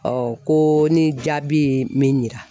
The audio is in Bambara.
ko ni jaabi ye min yira